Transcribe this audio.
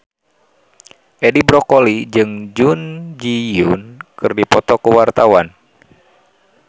Edi Brokoli jeung Jun Ji Hyun keur dipoto ku wartawan